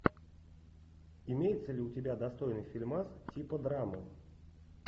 имеется ли у тебя достойный фильмас типа драмы